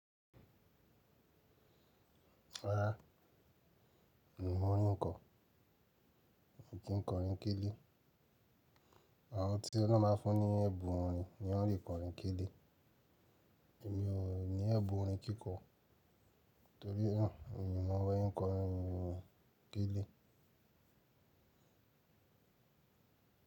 Rárá, mi ò mọ orin kọ. Èmi kì í kọ orin kíló. Àwọn tí oloun bá fún ní ẹ̀bùn orin ni wọ́n lè kọ orin kíló. Èmi ò ní ẹ̀bùn orin kíkọ torí náà, èmi ò mọ ọwọ́ kọ orin kíló.